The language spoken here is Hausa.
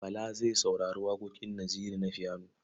Bala zai saurari waƙoƙin Naziru na fiyano.